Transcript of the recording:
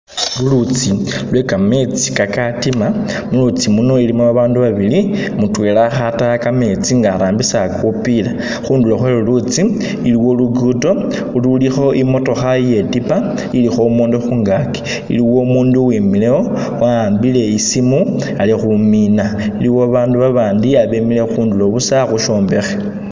Lulutsi lwe kametsi kakatima , mulutsi luno lulimo abandu babili, mutwela akhataya kametsi nga arambisa kupiila, khundulo khwe lulutsi iliwo lugudo ululiwo imotokha itetipa ilikho umundu khungaki, iliwo umundu uwimilewo wa'ambile isimu ali khumina iliwo abandu babandi abemile khundulo busa khushombekhe.